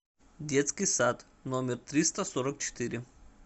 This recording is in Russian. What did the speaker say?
детский сад номер триста сорок четыре